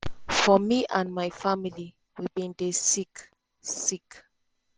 “for me and my family we bin dey sick. sick.